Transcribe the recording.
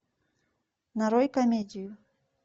нарой комедию